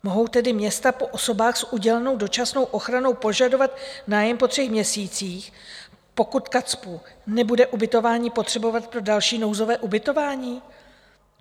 Mohou tedy města po osobách s udělenou dočasnou ochranou požadovat nájem po třech měsících, pokud KACPU nebude ubytování potřebovat pro další nouzové ubytování?